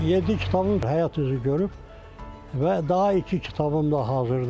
Yeddi kitabım həyat üzü görüb və daha iki kitabım da hazırdır.